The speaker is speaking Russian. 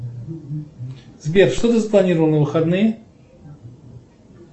сбер что ты запланировал на выходные